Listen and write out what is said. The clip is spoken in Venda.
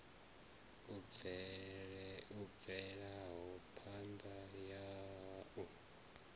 i bvelaho phanda ya u